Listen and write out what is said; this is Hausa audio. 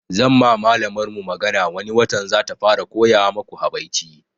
Zan ma malamar ku magana wani watan zata fara koya maku habaici